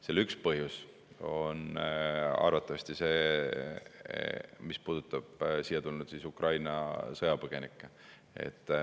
Selle üks põhjus arvatavasti puudutab siia tulnud Ukraina sõjapõgenikke.